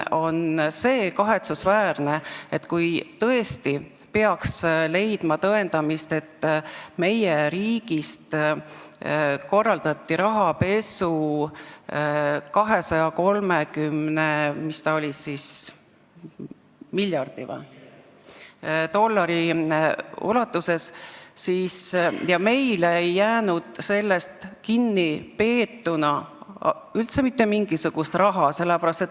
Aga kahetsusväärne on ka see, kui tõesti peaks leidma tõendamist, et meie riigist korraldati rahapesu 230 miljardi dollari ulatuses, aga meie ei pidanud sellest rahast üldse mitte midagi kinni.